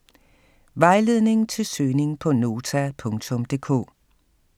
Vejledning til søgning på Nota.dk